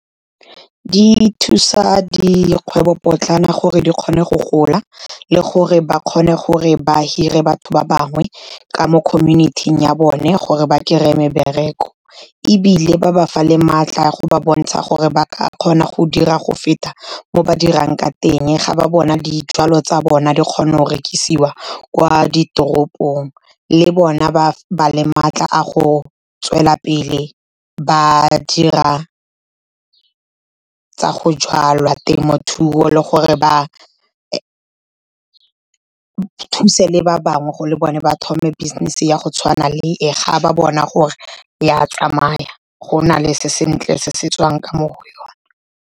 Di thusa dikgwebopotlana gore di kgone go gola le gore ba kgone gore ba hire batho ba bangwe ka mo community-ing ya bone, gore ba kry-e mebereko. Ebile ba ba fa le maatla go ba bontsha gore ba ka kgona go dira go feta mo ba dirang ka teng. Ga ba bona dijwalo tsa bona di kgona go rekisiwa kwa ditoropong le bona ba ba le maatla a go tswela pele ba dira tsa go jalwa, temothuo le gore ba thuse le ba bangwe go le bone ba thome business ya go tshwana le e. Ga ba bona gore ya tsamaya go na le se sentle se se tswang ka mo go yona.